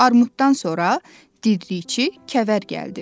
Armuddan sonra diriçi Kəvər gəldi.